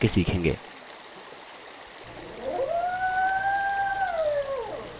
हम सबसे ज्यादा इस्तेमाल किये जाने वाले formatting options के बारे में एकएक करके सीखेंगे